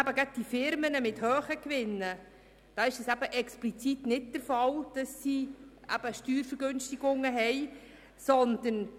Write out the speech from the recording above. Gerade für die Firmen mit hohen Gewinnen ist es explizit nicht der Fall, dass sie Steuervergünstigungen geniessen.